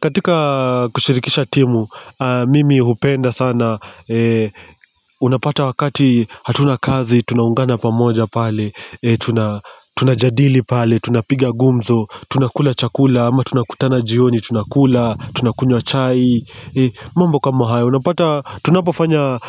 Katika kushirikisha timu, mimi hupenda sana, unapata wakati hatuna kazi, tunaungana pamoja pale, tunajadili pale, tunapiga gumzo, tunakula chakula, ama tunakutana jioni, tunakula, tunakunywa chai, mambo kama hayo, unapata, tunapofanya